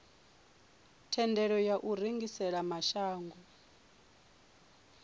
thendelo ya u rengisela mashango